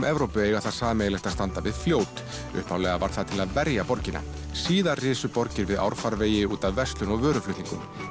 Evrópu eiga það sameiginlegt að standa við fljót upphaflega var það til að verja borgina síðar risu borgir við árfarvegi út af verslun og vöruflutningum